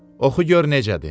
Oxu gör necədir.